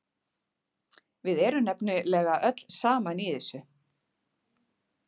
Við erum nefnilega öll saman í þessu.